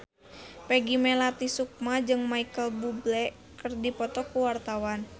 Peggy Melati Sukma jeung Micheal Bubble keur dipoto ku wartawan